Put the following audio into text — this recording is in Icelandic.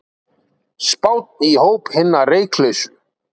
Spánn í hóp hinna reyklausu